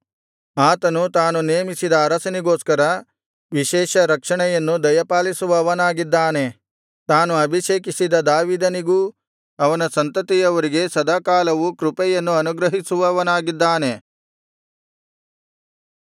ಆತನು ತಾನು ನೇಮಿಸಿದ ಅರಸನಿಗೋಸ್ಕರ ವಿಶೇಷ ರಕ್ಷಣೆಯನ್ನು ದಯಪಾಲಿಸುವವನಾಗಿದ್ದಾನೆ ತಾನು ಅಭಿಷೇಕಿಸಿದ ದಾವೀದನಿಗೂ ಅವನ ಸಂತತಿಯವರೆಗೆ ಸದಾಕಾಲವೂ ಕೃಪೆಯನ್ನು ಅನುಗ್ರಹಿಸುವವನಾಗಿದ್ದಾನೆ